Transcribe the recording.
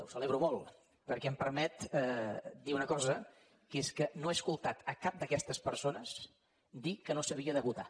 ho celebro molt perquè em permet dir una cosa que és que no he escoltat a cap d’aquestes persones dir que no s’havia de votar